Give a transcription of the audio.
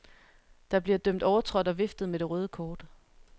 Der bliver dømt overtrådt og viftet med det røde kort.